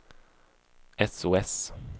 sos